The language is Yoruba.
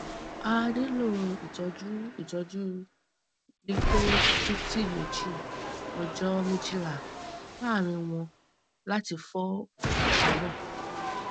a nilo itọju itọju lithotripsy meji ọjọ mejila laaarin wọn lati fọ okuta naa